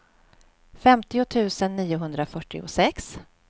femtio tusen niohundrafyrtiosex